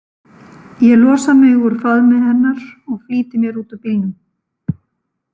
Ég losa mig úr faðmi hennar og flýti mér út úr bílnum.